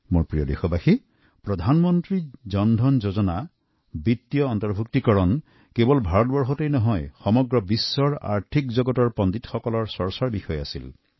মোৰ প্ৰিয় দেশবাসী প্ৰধানমন্ত্ৰী জনধন যোজনা বিত্তীয় অন্তৰ্ভূক্তিয়ে কেবল ভাৰততে নহয় বিশ্বৰ অৰ্থনৈতিক বিশেষজ্ঞসকলৰ বাবেও চৰ্চাৰ বিষয় হৈ পৰিছে